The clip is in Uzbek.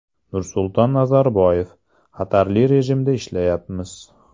Nursulton Nazarboyev: Xatarli rejimda ishlayapmiz.